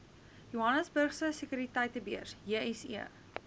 johannesburgse sekuriteitebeurs jse